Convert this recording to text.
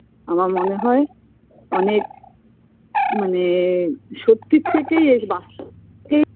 আমার মনে হয় অনেক মানে সত্যির থেকেই এই বাস্তব কেই